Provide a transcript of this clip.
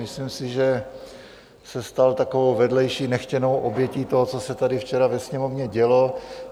Myslím si, že se stal takovou vedlejší nechtěnou obětí toho, co se tady včera ve Sněmovně dělo.